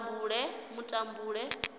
mutambule